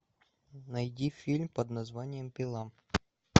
найди фильм под названием пила